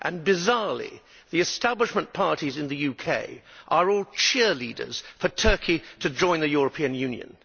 Bizarrely, the establishment parties in the UK are all cheerleaders for Turkey to join the European Union.